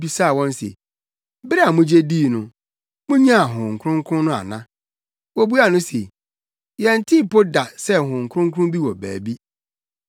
bisaa wɔn se, “Bere a mugye dii no, munyaa Honhom Kronkron no ana?” Wobuaa no se, “Yɛntee mpo da sɛ Honhom Kronkron bi wɔ baabi.”